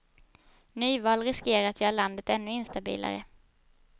Nyval riskerar att göra landet ännu instabilare.